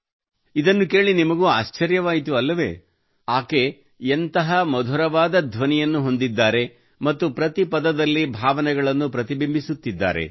ಇದನ್ನು ಕೇಳಿ ನಿಮಗೂ ಆಶ್ಚರ್ಯವಾಯಿತು ಅಲ್ಲವೇ ಅವಳು ಎಂತಹ ಮಧುರವಾದ ಧ್ವನಿಯನ್ನು ಹೊಂದಿದ್ದಾಳೆ ಮತ್ತು ಪ್ರತಿ ಪದದಲ್ಲಿ ಭಾವನೆಗಳನ್ನು ಪ್ರತಿಬಿಂಬಿಸುತ್ತಿದ್ದಾಳೆ